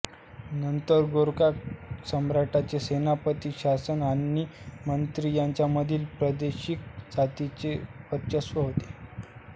नंतर गोरखा साम्राज्याचे सेनापती प्रशासक आणि मंत्री यांच्यामधील प्रादेशिक जातींचे वर्चस्व होते